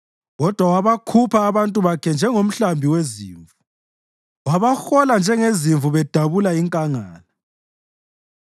Kodwa wabakhupha abantu bakhe njengomhlambi wezimvu; wabahola njengezimvu bedabula inkangala.